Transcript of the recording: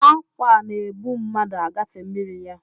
ákwà na-ebu mmadụ agafe mmiri ya